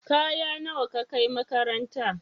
Kaya nawa ka kai makaranta?